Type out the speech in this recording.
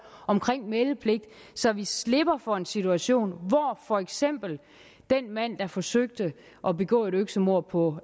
og meldepligt så vi slipper for en situation hvor for eksempel den mand der forsøgte at begå et øksemord på